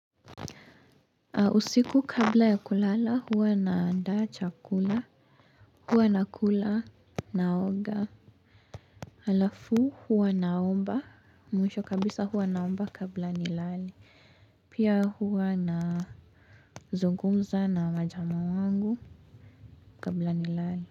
Usiku kabla ya kulala huwa naandaa chakula huwa nakula naoga. Alafu huwa naomba mwisho kabisa huwa naomba kabla nilale pia huwa nazungumza na majama wangu kabla nilale.